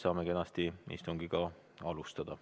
Saame kenasti istungit alustada.